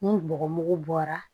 Ni bɔgɔmugu bɔra